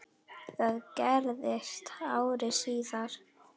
Það gerðist ári síðar.